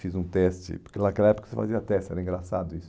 Fiz um teste, porque naquela época você fazia teste, era engraçado isso.